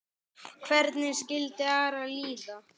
Hvernig skildi Ara líða?